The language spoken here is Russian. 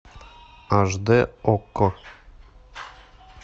аш д окко